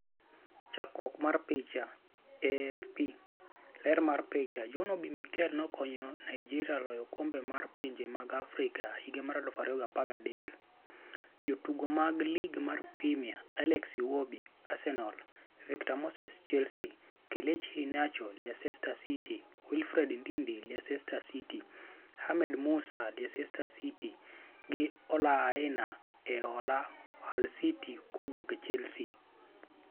Chakruok mar picha, AFP. Ler mar picha, John Mikel Obi nokonyo Nigeria loyo okombe mar pinje mag Afrika higa mar 2013. Jotugo mag Lig mar Premia: Alex Iwobi (Arsenal), Victor Moses (Chelsea), Kelechi Iheanacho (Leicester City), Wilfred Ndidi (Leicester City), Ahmed Musa (Leicester City) na Ola Aina (e hola Hull City kowuok Chelsea).